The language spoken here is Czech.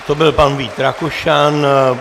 To byl pan Vít Rakušan.